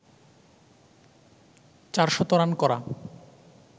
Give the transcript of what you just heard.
চারশত রান করা